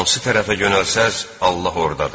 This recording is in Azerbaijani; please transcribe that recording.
Hansı tərəfə yönəlsəz, Allah ordadır.